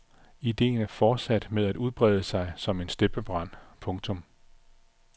Ideen er fortsat med at brede sig som en steppebrand. punktum